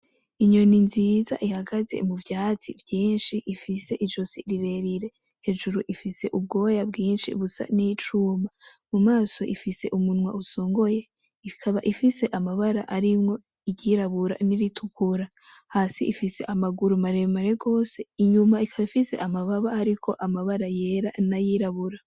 Inyoni nziza ihagaze mu vyatsi vyinshi, ifise izosi rirerire, hejuru ifise ubwoya bwinshi busa n'icuma, mu maso ifise umunwa usongoye ikaba ifise amabara arimwo iryirabura n'iritukura, hasi ifise amaguru maremare gose, inyuma ikaba ifise amababa hariko amabara yera n'ayirabura.